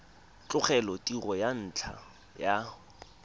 tlogela tiro ka ntlha ya